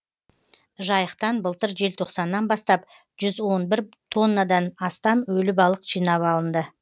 жайықтан былтыр желтоқсаннан бастап жүз он бір тоннадан астам өлі балық жинап алынды